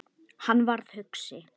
Hann varð hugsi.